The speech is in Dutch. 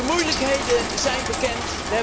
De moeilijkheden zijn bekend.